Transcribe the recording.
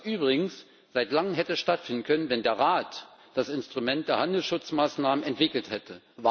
Was übrigens seit langem hätte stattfinden können, wenn der Rat das Instrument der Handelsschutzmaßnahmen entwickelt hätte.